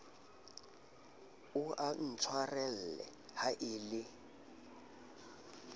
o ntshwarele ha e le